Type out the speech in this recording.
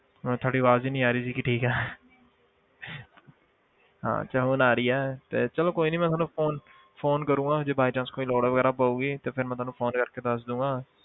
ਮੈਨੂੰ ਤੁਹਾਡੀ ਆਵਾਜ਼ ਹੀ ਨੀ ਆ ਰਹੀ ਸੀਗੀ ਕਿ ਠੀਕ ਹੈ ਹਾਂ ਰਹੀ ਹੈ ਤੇ ਚਲੋ ਕੋਈ ਨੀ ਮੈਂ ਤੁਹਾਨੂੰ phone phone ਕਰਾਂਗਾ ਜੇ by chance ਕੋਈ ਲੋੜ ਵਗ਼ੈਰਾ ਪਊਗੀ ਤੇ ਫਿਰ ਮੈਂ ਤੁਹਾਨੂੰ phone ਕਰਕੇ ਦੱਸ ਦਊਂਗਾ।